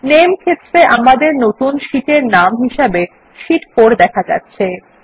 নামে ক্ষেত্রে আমাদের নতুন শিট এর নাম হিসেবে শীট 4 দেখা যাচ্ছে